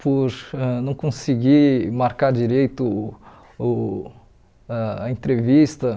por ãh não conseguir marcar direito uh ãh a entrevista.